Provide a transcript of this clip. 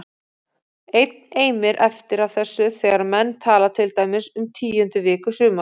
Enn eimir eftir af þessu þegar menn tala til dæmis um tíundu viku sumars